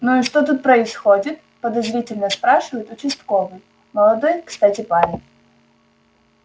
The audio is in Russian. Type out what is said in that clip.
ну и что тут происходит подозрительно спрашивает участковый молодой кстати парень